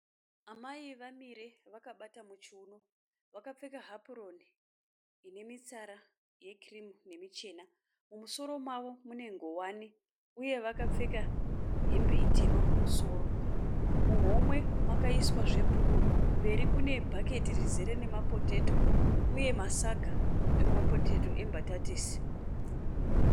Amai vamire vakabata muchiuno. Vakapfeka hapuroni ine mitsara yekirimu nemichena. Mumusoro mavo mune ngowani uye vakapfeka hembe ichena kumusoro. Kumberi kune bhaketi rizere mapotato uye masaga emapotato embatatisi.